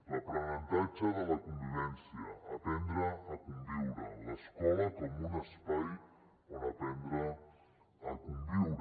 l’aprenentatge de la convivència aprendre a conviure l’escola com un espai on aprendre a conviure